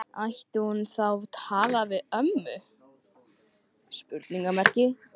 Ætti hún þá að tala við ömmu?